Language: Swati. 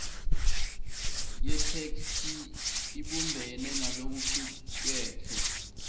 yetheksthi ibumbene nalokucuketfwe